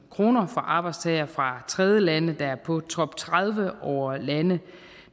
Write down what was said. kroner for arbejdstagere fra tredjelande der er på top tredive over lande